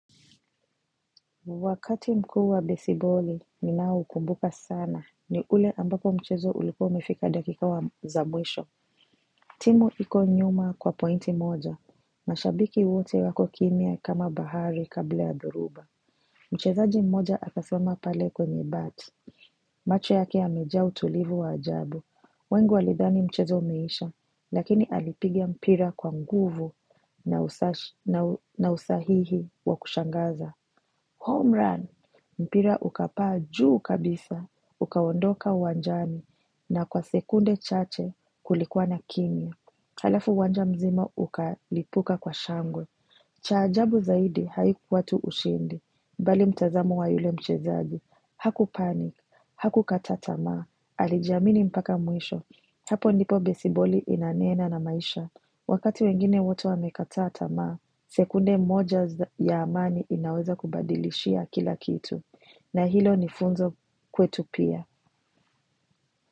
Wakati mkuu wa besiboli, ninaokumbuka sana ni ule ambapo mchezo ulikuwa umefika dakika za mwisho. Timu iko nyuma kwa pointi moja. Mashabiki wote wako kimya kama bahari kabla ya dhuruba. Mchezaji mmoja akaswema pale kwenye bat. Macho yake yamejaa utulivu wa ajabu. Wengi walidhani mchezo umeisha, lakini alipiga mpira kwa nguvu na usahihi wa kushangaza. Home run! Mpira ukapaa juu kabisa, ukaondoka uwanjani na kwa sekunde chache kulikuwa na kimya. Halafu uwanja mzima ukalipuka kwa shangwe. Cha ajabu zaidi haikuwa tu ushindi, bali mtazamo wa yule mchezaji. Haku panik, hakukata tama, alijiamini mpaka mwisho. Hapo ndipo besiboli inanena na maisha. Wakati wengine wote wamekata tamaa, sekunde moja ya amani inaweza kubadilishia kila kitu. Na hilo ni funzo kwetu pia.